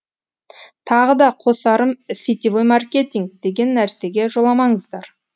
тағы да қосарым сетевой маркетинг деген нәрсеге жоламаңыздар